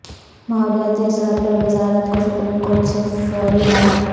ماحولیاتی اثرات پر وزارت کو سپریم کورٹ سے فوری راحت